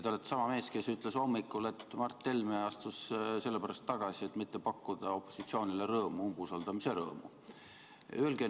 Te olete sama mees, kes ütles hommikul, et Mart Helme astus tagasi sellepärast, et mitte pakkuda opositsioonile umbusaldamise rõõmu.